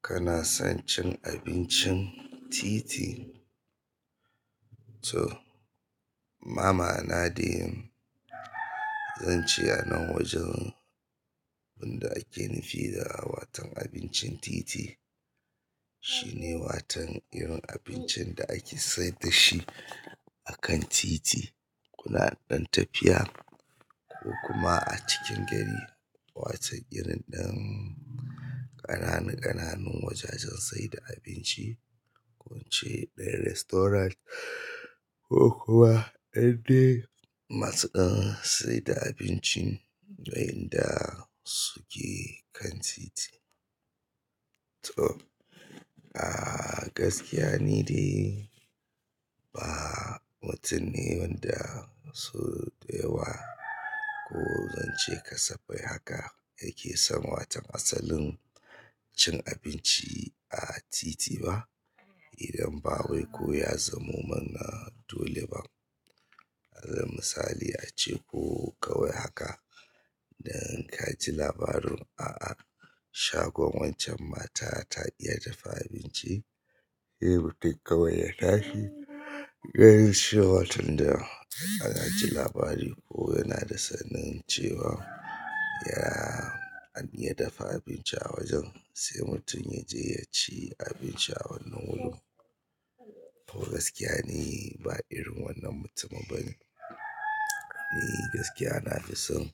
Kana son cin abincin titi? To, mama'ana dai zan ce a nan wajen wanda ake nufi da watan abincin titi, shine watan irin abincin da ake saida shi akan titi, ko da ɗan tafiya ko kuma a cikin gari. Wa tan irin ɗin ƙananan ƙananan wajajen saida abinci, gunce ɗin restaurant ko kuwa indai masuɗan saida abinci yanda suke kan titi. To, a gaskiya ni dai ba mutum ne wanda so da yawa ko zan ce ka safai haka yake san watan asalin cin abinci a titi ba. Idan ba wai ko ya zamo mana dole ba. Alal misali ace ko kawai haka da ka ji labarin, a'a shagon wancan mata ta iya dafa abinci, sai mutum kawai ya tashi sai ya ji cewa tunda aka ji labari ko yana da sanin cewa ya iya dafa abinci a wajen, sai mutum ya je ya ci abinci a wannan wurin to gaskiya ni ba irin wannan mutumin bane. Ni gaskiya na fi son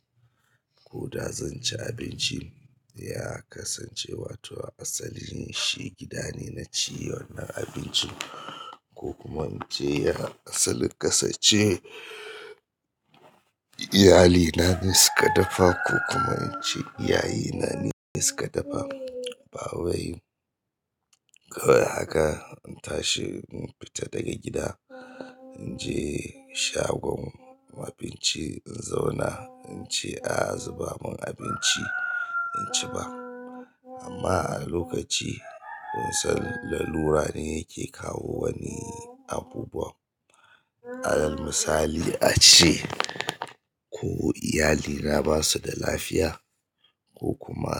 ko da zan ci abinci, ya kasance wato asali shi gida ne na ci wannan abincin ko kuma mu je ya asalin ƙasan ce iyalina ne suka dafa ko kuma in ce iyaye na ne suka dafa. Ba wai kawai haka in tashi in fita daga gida, in je shagon abinci in zauna in ce a zuba mun abinci in ci ba. Amma a lokaci kun san lalura ne yake kawo wani abubuwa. Alal misali ace ko iyalina basu da lafiya ko kuma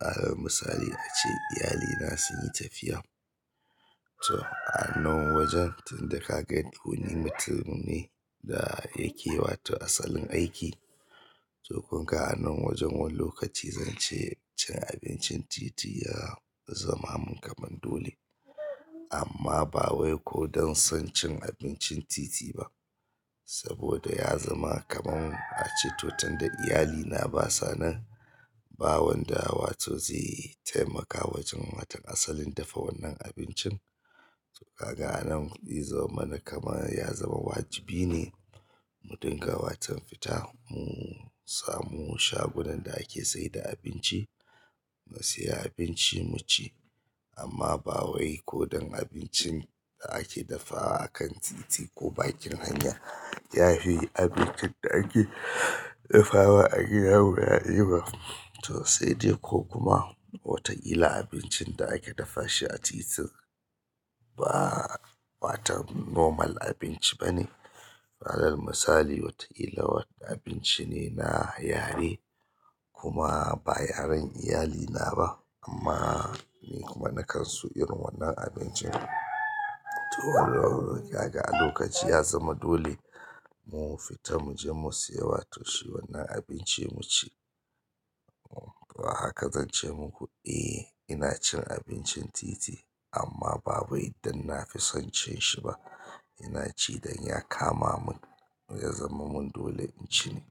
alal misali ace iyalina sun yi tafiya. To a nan wajen tunda ka gan wani mutum ne da yake wato asalin aiki, to kunga a nan wajen wani lokaci zan ce cin abincin titi ya zama mun kamar dole. Amma ba wai ko don son cin abincin titi ba saboda ya zama kaman ace to tunda iyalina basa nan, ba wanda wato zai taimaka wajen watan asalin dafa wannan abincin. To kaga a nan ya zama mana kamar ya zama wajibi ne mu dinga watan fita mu samu shagunan da ake saida abinci, mu siya abinci mu ci. Amma ba wai ko don abincin da ake dafawa akan titi ko bakin hanya, ya fi abincin da ake dafawa a gida wuya yi ba. To sai dai ko kuma wataƙila abincin da ake dafa shi a titin ba watan normal abinci bane. Alal misali wataƙila wani abinci ne na yare kuma ba yaren iyalina amma muna mukan so wannan abincin to wannan kaga ga a lokaci ya zama dole mu fita mu je mu siya wato shi wannan abinci mu ci. To a haka zan ce muku, eh ina cin abincin titi amma ba wai idan na fi son cin shi ba. Ina ci don ya kama mun ya zama mun dole in ci ne.